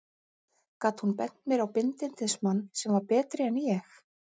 Gat hún bent mér á bindindismann sem var betri en ég?